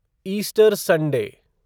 Easter Sunday